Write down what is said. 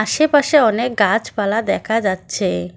আশেপাশে অনেক গাছপালা দেখা যাচ্ছে।